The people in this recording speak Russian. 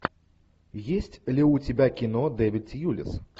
есть ли у тебя кино дэвид тьюлис